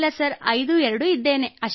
ಇಲ್ಲ ಸರ್ ಐದು ಎರಡು ಇದ್ದೇನೆ